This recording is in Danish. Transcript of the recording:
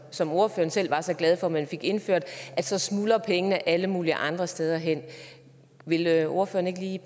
som ordføreren selv var så glad for at man fik indført så smuldrer pengene alle mulige andre steder hen vil ordføreren ikke